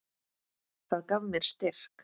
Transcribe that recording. Það gaf mér styrk.